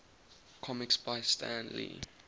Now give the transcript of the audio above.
comics by stan lee